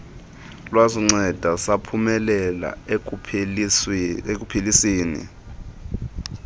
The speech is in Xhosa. lwasinceda saphumelela ekupheliseni